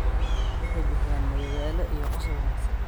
Waxay bixiyaan madadaalo iyo qosol wanaagsan.